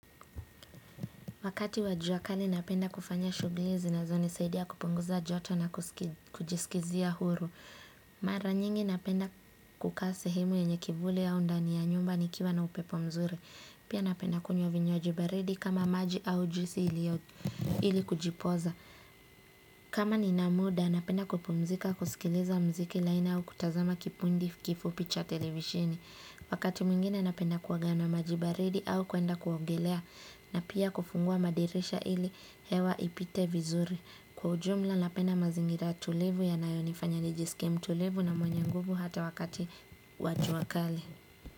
Wakati wa jua kali napenda kufanya shughuli zinazonisaidia kupunguza joto na kujiskizia huru. Mara nyingi napenda kukaa sehemu yenye kivuli au ndani ya nyumba nikiwa na upepo mzuri. Pia napenda kunywa vinywaji baridi kama maji au juisi ili kujipoza. Kama nina muda napenda kupumzika kusikiliza muziki laini au kutazama kipindi kifupi cha televisheni. Wakati mwingine napenda kuoga na maji baridi au kuenda kuongelea na pia kufungua madirisha ili hewa ipite vizuri. Kwa ujumla napenda mazingira tulivu yanayonifanya nijisike mtulivu na mwenye nguvu hata wakati wa jua kali.